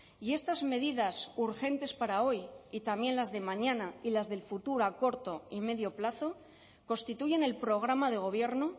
y estas medidas urgentes para hoy y también las de mañana y las del futuro a corto y medio plazo constituyen el programa de gobierno